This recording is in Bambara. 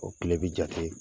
O tile bi jate